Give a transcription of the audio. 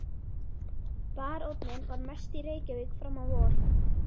Baróninn var mest í Reykjavík fram á vor.